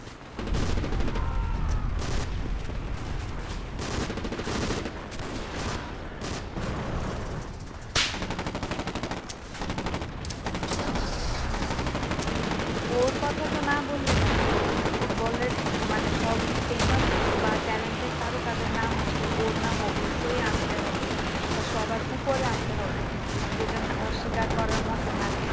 ওর কথা তো না বললেই নাই ফুটবলের মানে সব famous বা talented তারকা দের নাম আসলে ওর নাম অবশ্যই আনতে হবে বা সবার উপরে আনতে হবে। যেটা অস্বীকার করার মত না